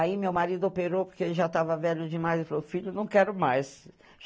Aí, meu marido operou, porque ele já tava velho demais, e falou, filho, não quero mais.